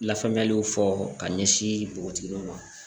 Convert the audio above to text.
Lafaamuyaliw fɔ ka ɲɛsin npogotigiw ma